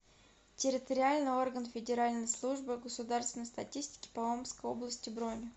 территориальный орган федеральной службы государственной статистики по омской области бронь